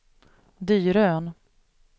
Dyrön